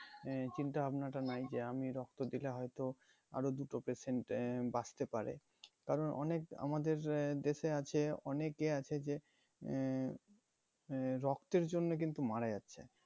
এই চিন্তাভাবনা টা নাই যে আমি রক্ত দিলে হয়তো আরো দুটো patient আহ বাঁচতে পারে কারণ অনেক আমাদের আহ দেশে আছে অনেকে আছে যে আহ আহ রক্তের জন্য কিন্তু মারা যাচ্ছে